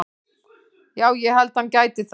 Já ég held að hann gæti það.